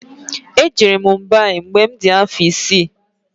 E jere m Mumbai mgbe mụ di afọ isi